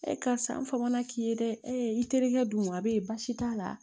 karisa n fagana k'i ye dɛ i terikɛ dun wa be ye baasi t'a la